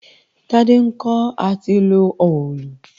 Tádé ń kọ́ à ti lo òòlù